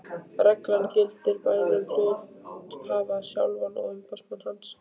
Reglan gildir bæði um hluthafann sjálfan og umboðsmann hans.